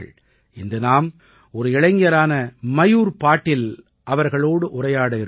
இன்று நாம் ஒரு இளைஞரான மயூர் பாடில் அவர்களோடு உரையாட இருக்கிறோம்